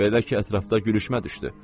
Belə ki, ətrafda gülüşmə düşdü.